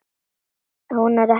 Hún er ekki ein.